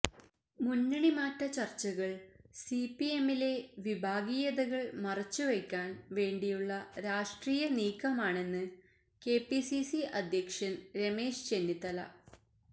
മുന്നണി മാറ്റ ചര്ച്ചകള് സിപിഎമ്മിലെ വിഭാഗീയതകള് മറച്ചു വയ്ക്കാന് വേണ്ടിയുള്ള രാഷ്ര്ടീയ നീക്കമാണെന്ന് കെപിസിസി അധ്യക്ഷന് രമേശ് ചെന്നിത്തല